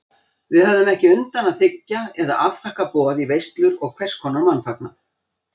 Við höfðum ekki undan að þiggja eða afþakka boð í veislur og hverskonar mannfagnað.